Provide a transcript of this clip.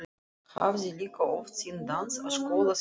Hafði líka oft sýnt dans á skólaskemmtunum.